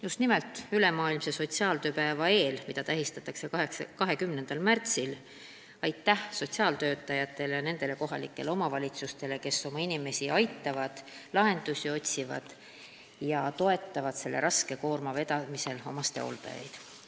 Just nimelt ülemaailmse sotsiaaltööpäeva eel, mida tähistatakse 20. märtsil, ütlen aitäh sotsiaaltöötajatele ja nendele kohalikele omavalitsustele, kes oma inimesi aitavad, lahendusi otsivad ja omastehooldajaid selle raske koorma vedamisel toetavad.